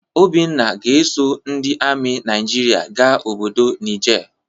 Obinna ga-eso ndị ami Naijiria ga obodo Nije.